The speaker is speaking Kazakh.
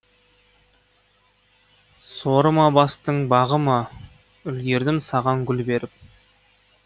соры ма бастың бағы ма үлгердім саған гүл беріп